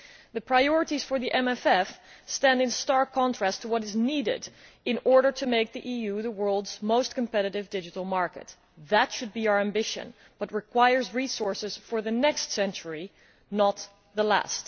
The priorities for the MFF stand in stark contrast to what is needed in order to make the EU the world's most competitive digital market. That should be our ambition, but it requires resources for the next century not the last.